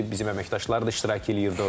Bizim əməkdaşlar da iştirak eləyirdi orda.